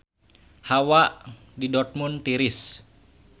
Hawa di Dortmund tiris